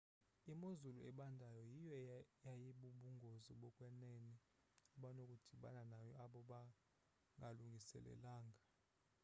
imozulu ebandayo yiyo eyibubungozi bokwenene abanokudibana nayo abo bangalungiselelanga